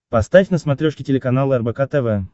поставь на смотрешке телеканал рбк тв